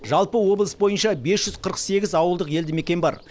жалпы облыс бойынша бес жүз қырық сегіз ауылдық елді мекен бар